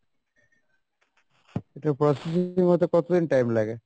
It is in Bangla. এটার processing হতে কতদিন time লাগে?